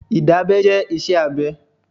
Ìdábẹ́ jẹ́ iṣẹ́ abẹ.